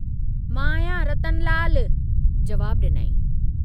मां आहियां रतनलाल जवाबु डिनाईं।